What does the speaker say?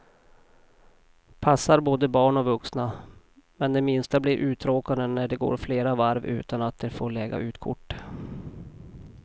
Passar både barn och vuxna, men de minsta blir uttråkade när det går flera varv utan att de får lägga ut kort.